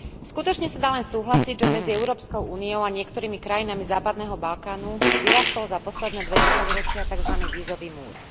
Skutočne sa dá len súhlasiť, že medzi Európskou úniou a niektorými krajinami západného Balkánu vyrástol za posledné dve desaťročia takzvaný vízový múr.